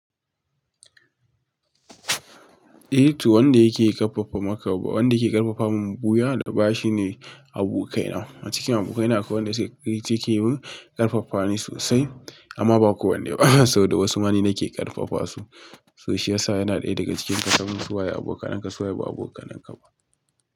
Eh to wanda yake karfafa maka ba, wanda yake karfafa mun buya da bashi ne abokai na. A cikin abokai na akwai wanda yake mun karfafa ni sosai amma ba kowane ba saboda wasu ma ni nake karfafa su. So shi yasa yana ɗaya daga cikin kasamu suwaye abokananka suwaye ba abokananka ba.